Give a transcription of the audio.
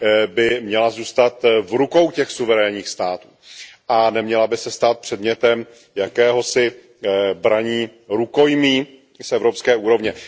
by měla zůstat v rukou těch suverénních států a neměla by se stát předmětem jakéhosi braní rukojmí z evropské úrovně.